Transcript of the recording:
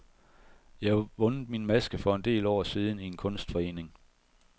Jeg har vundet min maske for en del år siden i en kunstforening.